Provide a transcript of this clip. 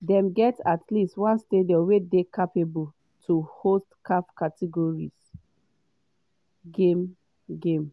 dem get at least one stadium wey dey capable to host caf category c game.” game.”